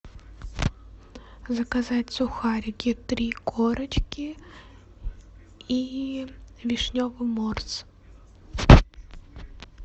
заказать сухарики три корочки и вишневый морс